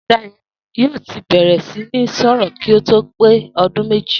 Dayò̩ yóò ti bè̩rè̩ sí ní sò̩rò̩ kí ó tó pé o̩dún méjì